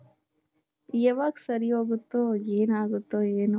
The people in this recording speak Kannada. ಯಾವಾಗ್ ಸರಿ ಹೋಗುತ್ತೋ ಏನಾಗುತ್ತೋ ಏನೋ